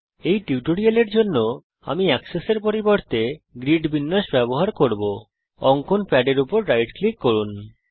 এই টিউটোরিয়ালের জন্য আমি এক্সেস এর পরিবর্তে গ্রিড বিন্যাস লেআউট ব্যবহার করব অঙ্কন প্যাডে রাইট ক্লিক করুন